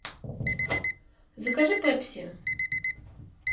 закажи пепси